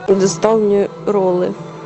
доставь мне роллы